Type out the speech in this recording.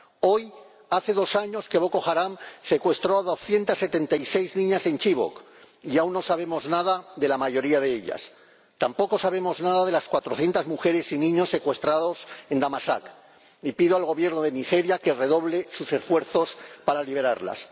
Hoy hace dos años que Boko Haram secuestró a doscientas setenta y seis niñas en Chibok y aún no sabemos nada de la mayoría de ellas, tampoco sabemos nada de los cuatrocientos niños y mujeres secuestrados en Damasak, y pido al Gobierno de Nigeria que redoble sus esfuerzos para liberarlos.